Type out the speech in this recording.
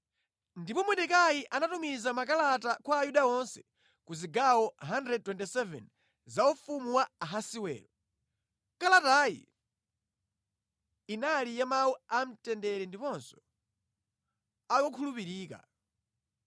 Ndipo Mordekai anatumiza makalata kwa Ayuda onse ku zigawo 127 za ufumu wa Ahasiwero. Kalatayi inali ya mawu a mtendere ndiponso a kukhulupirika